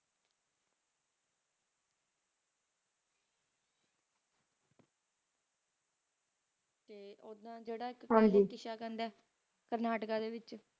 ਤੇ ਓਦਾਂ ਜੇਰਾ ਆਯ ਹਾਂਜੀ ਕਰਨਾਟਕਾ ਦੇ ਵਿਚ